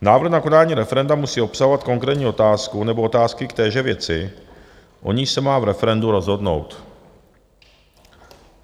Návrh na konání referenda musí obsahovat konkrétní otázku nebo otázky k téže věci, o níž se má v referendu rozhodnout.